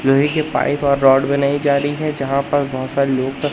लोहे की पाइप और रॉड बनाई जा रही है जहां पर बहोत सारे लोग--